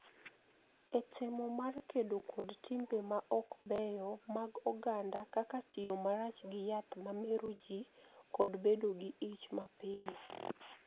E temo mar kedo kod timbe ma ok beyo mag oganda kaka tiyo marach gi yath ma mero ji kod bedo gi ich mapiyo.